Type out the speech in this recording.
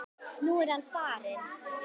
Nú er hann farinn.